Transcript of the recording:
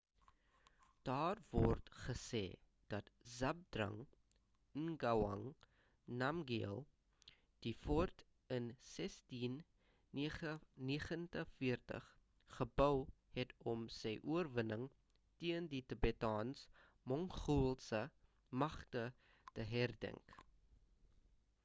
daar word gesê dat zhabdrung ngawang namgyel die fort in 1649 gebou het om sy oorwinning teen die tibetaans-mongoolse magte te herdenk